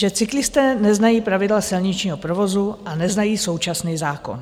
Že cyklisté neznají pravidla silničního provozu a neznají současný zákon.